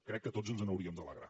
crec que tots ens n’hauríem d’alegrar